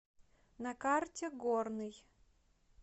на карте горный